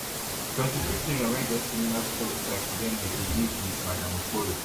twenty-two children wey wey get similar stories like udeme dey live wit madam okpoyo